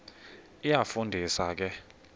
iyafu ndisa ke